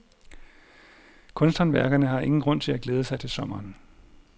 Kunsthåndværkerne har ingen grund til at glæde sig til sommeren.